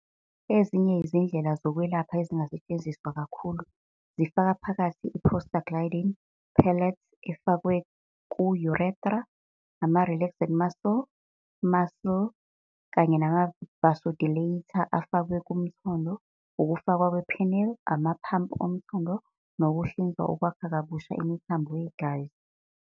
Ezinye izindlela zokwelapha, ezingasetshenziswa kakhulu, zifaka phakathi i- prostaglandin pellets, efakwe ku- urethra, ama-relaxant-muscle muscle kanye nama-vasodilator, afakwe kumthondo, ukufakwa kwe-penile, amaphampu omthondo, nokuhlinzwa okwakha kabusha imithambo yegazi.